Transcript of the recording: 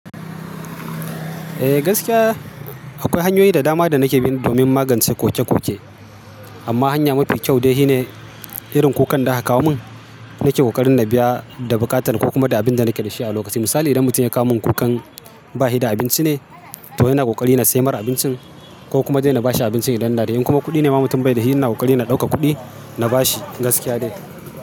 Eh gaskiya, akwai hanyoyi da dama da nake bin domin magance koke-koke. Amma hanya mafi kyau dai shi ne irin kukan da aka kawo min, nake ƙoƙarin na biya da buƙatan ko kuma da abin da nake da shi a lokaci. Misali idan mutum ya kawo min kukan bashi da abinci ne, toh ina ƙoƙari ina samar abincin ko kuma dai na bashi abinci idan na da. In kuma kuɗi ne mutumin bai da shi, ina ƙoƙari ina ɗauka kuɗi na bashi gaskiya dai.